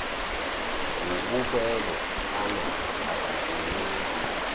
wububele anabo akakuyeki